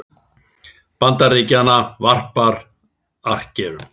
Bandaríkjanna varpað akkerum.